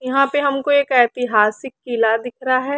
यहाँ पे हमको एक ऐतिहासिक किला दिख रहा है।